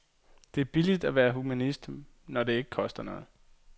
Det er billigt at være humanist, når det ikke koster noget.